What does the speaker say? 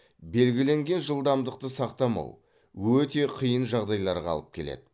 белгіленген жылдамдықты сақтамау өте қиын жағдайларға алып келеді